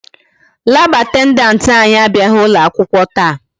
Lab attendant anyị abịaghị akwụkwọ taa.